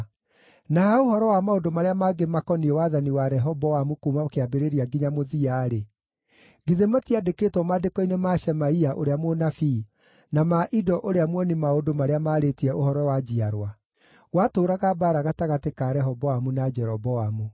Na ha ũhoro wa maũndũ marĩa mangĩ makoniĩ wathani wa Rehoboamu kuuma kĩambĩrĩria nginya mũthia-rĩ, githĩ matiandĩkĩtwo maandĩko-inĩ ma Shemaia ũrĩa mũnabii, na ma Ido ũrĩa muoni-maũndũ marĩa maarĩtie ũhoro wa njiarwa? Gwatũũraga mbaara gatagatĩ ka Rehoboamu na Jeroboamu.